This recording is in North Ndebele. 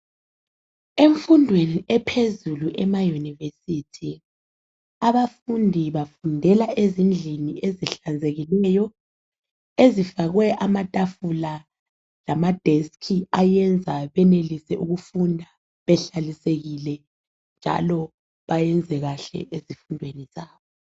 Emfundweni ephezulu emayunivesithi abafundi bafundela ezindlini ezihlanzekileyo, ezifakwe amatafula lama deski ayenza benelise ukufunda behlalisekile njalo bayenze kahle ezifundweni zabo.